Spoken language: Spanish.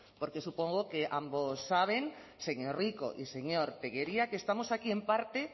porque supongo que ambos saben señor rico y señor tellería que estamos aquí en parte